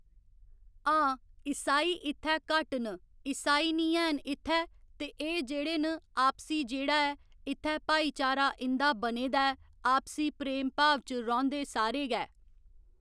आं इसाई इत्थै घट्ट न इसाई निं है'न इत्थै ते एह् जेह्ड़े न आपसी जेह्ड़ा ऐ इत्थै भाईचारा इं'दा बने दा ऐ आपसी प्रेम भाव च रौहंदे सारे गै